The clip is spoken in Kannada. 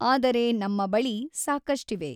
ಆದರೆ ನಮ್ಮ ಬಳಿ ಸಾಕಷ್ಟಿವೆ.